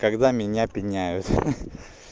когда меня пинают